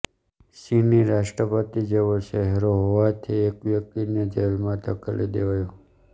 ચીની રાષ્ટ્રપતિ જેવો ચહેરો હોવાથી એક વ્યક્તિને જેલમાં ધકેલી દેવાયો